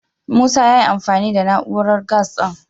Musa ya yi amfani da na'urar gas ɗin.